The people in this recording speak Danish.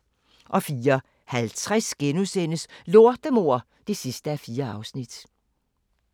04:50: Lortemor (4:4)*